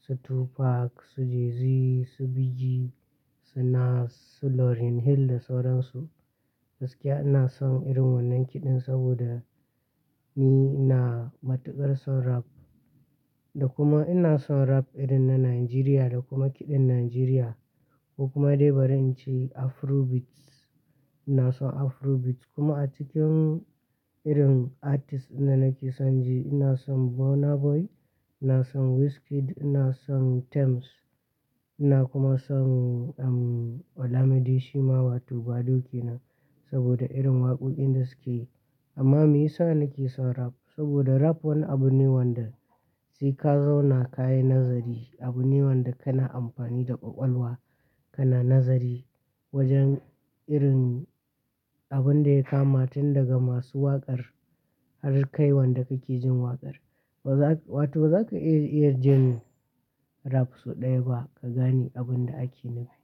su 2pac, su Jay Z, su Biggie, su Nas, su Lauryn Hill da sauran su. Gaskiya ina son irin wannan kiɗan saboda ni ina matuƙar son rap. Da kuma ina son rap irin na Najeriya da kuma kiɗan Najeriya ko kuma dai bari in ce Afro beats. Ina son Afro beats kuma a cikin irin artists ɗin da nake son ji ina son Burna Boy, ina son Wizkid, ina son Tems. Ina kuma son, ehm, Olamide shima wato badoo kenan saboda irin waƙoƙin da suke yi. Amma me yasa nake son rap? Saboda rap wani abu ne wanda sai ka zauna ka yi nazari. Abu ne wanda kana amfani da ƙwaƙwalwa, kana nazari wajen irin abun da ya kama tun daga masu waƙar har kai wanda kake jin waƙar. Ba za ka, wato ba za ka iya jin rap sau ɗaya ba ka gane abun da ake nufi.